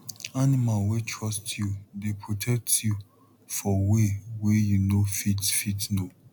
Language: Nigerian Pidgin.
animal wey trust you dey protect you for way wey you no fit fit know